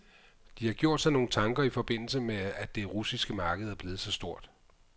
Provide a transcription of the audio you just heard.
De har gjort sig nogle tanker i forbindelse med at det russiske marked er blevet så stort.